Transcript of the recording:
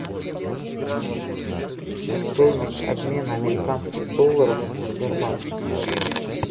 стоимость обмена американских долларов в сбербанке